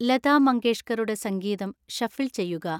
ലതാ മങ്കേഷ്കറുടെ സംഗീതം ഷഫിൾ ചെയ്യുക